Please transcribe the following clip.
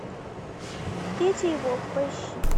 петя и волк поищи